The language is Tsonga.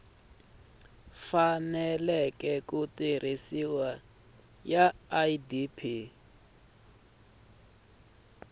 faneleke ku tirhisiwa ya idp